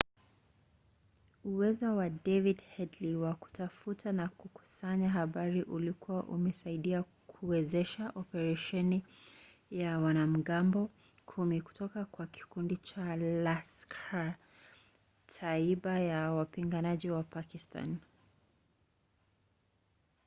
uwezo wa david headley wa kutafuta na kukusanya habari ulikuwa umesaidia kuwezesha operesheni ya wanamgambo 10 kutoka kwa kikundi cha laskhar-e-taiba cha wapiganaji wa pakistani